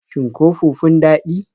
Shin ko fufun daɗi?